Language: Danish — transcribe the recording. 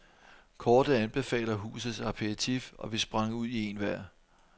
Kortet anbefaler husets aperitif, og vi sprang ud i en hver.